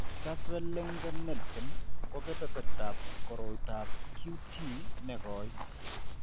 Jervell Lange Nielsen ko kebertab koroitoab QT ne koi .